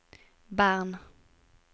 Bern